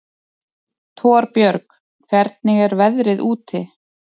Torbjörg, hvernig er veðrið úti?